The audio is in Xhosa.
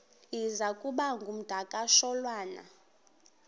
iza kuba ngumdakasholwana